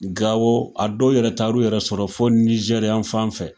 Gawo, a dɔw yɛrɛ taa l'u yɛrɛ sɔrɔ fo Nijɛri fan fɛ.